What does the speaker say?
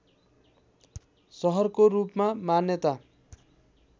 सहरको रूपमा मान्यता